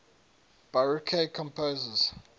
baroque composers